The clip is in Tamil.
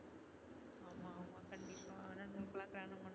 ஆனா